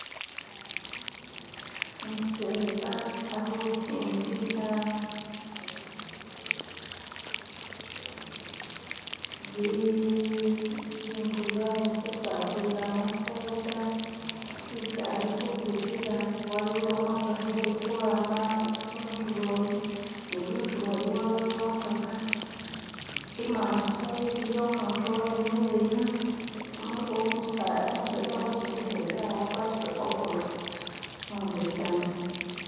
Umuseza alikusindika bi.. ibintu byesi agulilamu soda isi alikubitila waliwo imotoka ilikwama kuntulo yi ni kuntulo yi waliyo imotoka, imaso iliyo umuntu imikileyo. Umuseza ulikusindika igali agwatile ovulo umubesemu.